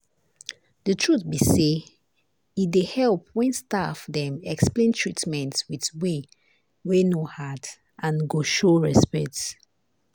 the truth be say e dey help when staff dem explain treatment with way wey no hard and go show respect.